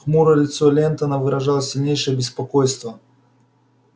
хмурое лицо лентона выражало сильнейшее беспокойство